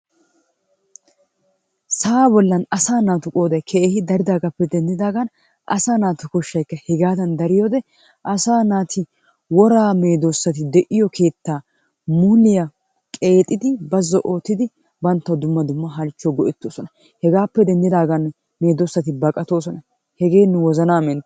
Sa'aa bollan asaa naatu qooday daridaagaappe denddidaagan asaa naatu koshshayikka hegaadan daridaagan asaa naati woraa medoossati de'iyo keettaa muliya qeexidi bazzo oottidi banttawu dumma dumma halchchuwawu go'ettoosona. Hegaappe denddidaagan medoossati baqatoosona. Hegee nu wozanaa menttes.